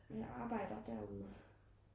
men jeg arbejder derude